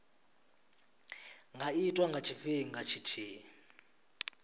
nga itwa nga tshifhinga tshithihi